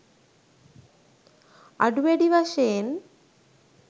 අඩු වැඩි වශයෙන්